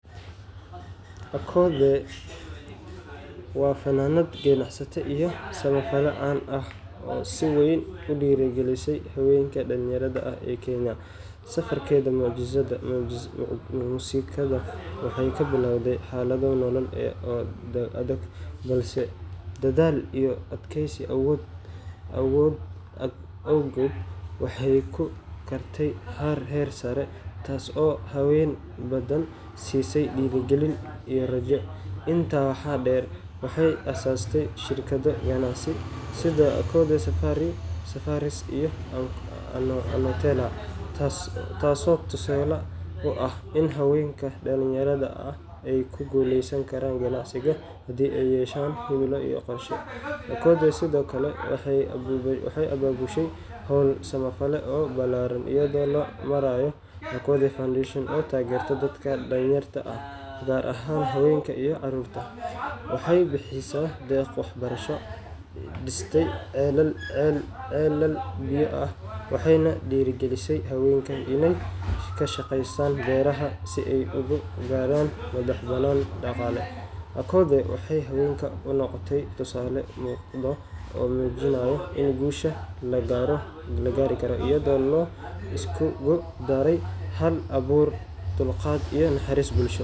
Akothee waa fannaanad, ganacsato, iyo samafale caan ah oo si weyn u dhiirrigelisay haweenka dhalinyarada ah ee Kenya. Safarkeeda muusikada waxay ka bilowday xaalado nololeed oo adag, balse dadaal iyo adkaysi awgood waxay ku gaartay heer sare, taas oo haween badan siisay dhiirigelin iyo rajo. Intaa waxaa dheer, waxay aasaastay shirkado ganacsi sida Akothee Safaris iyo Aknotela, taasoo tusaale u ah in haweenka dhalinyarada ah ay ku guuleysan karaan ganacsiga haddii ay yeeshaan himilo iyo qorshe. Akothee sidoo kale waxay abaabushay hawlo samafal oo ballaaran iyada oo loo marayo Akothee Foundation, oo taageerta dadka danyarta ah, gaar ahaan haweenka iyo caruurta nugul. Waxay bixisay deeqo waxbarasho, dhistay ceelal biyo ah, waxayna dhiirrigelisay haweenka inay ka shaqeeyaan beeraha si ay u gaaraan madax-bannaani dhaqaale. Akothee waxay haweenka u noqotay tusaale muuqda oo muujinaya in guusha la gaari karo, iyada oo la iskugu darayo hal-abuur, dulqaad, iyo naxariis bulsho.